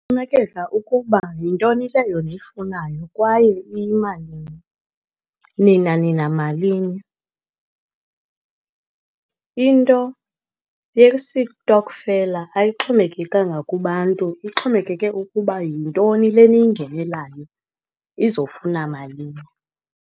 Kuxhomekeka ukuba yintoni le yona uyifunayo kwaye iyimalini, nina nina malini. Into yesitokfela ayixhomekekanga kubantu, ixhomekeke ukuba yintoni le neyingenelayo izofuna malini.